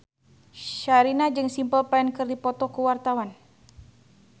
Sherina jeung Simple Plan keur dipoto ku wartawan